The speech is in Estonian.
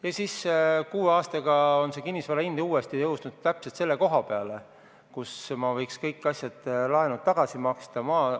Ja kuue aastaga on kinnisvara hind uuesti tõusnud sama kõrgele ja ma võiksin kõik laenud tagasi maksta.